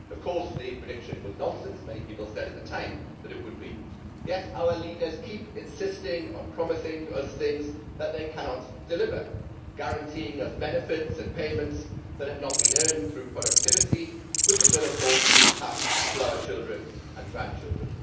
Of course the prediction was nonsense many people said at the time that it would be yet our leaders keep insisting on promising us things that they cannot deliver, guaranteeing us benefits and payments that have not been earned through productivity, with the bill of course being passed to our children and grandchildren.